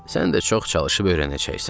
Sən də çox çalışıb öyrənəcəksən.